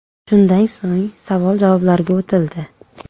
Shundan so‘ng savol-javoblarga o‘tildi.